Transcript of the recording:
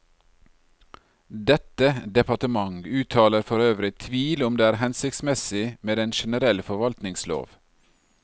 Dette departement uttaler for øvrig tvil om det er hensiktsmessig med en generell forvaltningslov.